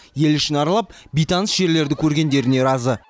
ел ішін аралап бейтаныс жерлерді көргендеріне разы